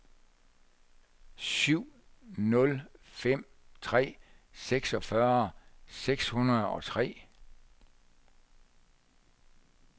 syv nul fem tre seksogtyve seks hundrede og tre